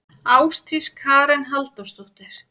Ásdís Karen Halldórsdóttir.